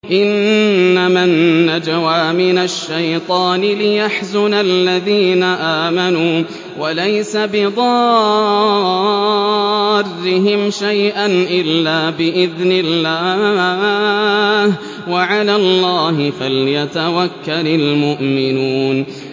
إِنَّمَا النَّجْوَىٰ مِنَ الشَّيْطَانِ لِيَحْزُنَ الَّذِينَ آمَنُوا وَلَيْسَ بِضَارِّهِمْ شَيْئًا إِلَّا بِإِذْنِ اللَّهِ ۚ وَعَلَى اللَّهِ فَلْيَتَوَكَّلِ الْمُؤْمِنُونَ